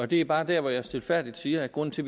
det er bare der hvor jeg stilfærdigt siger at grunden til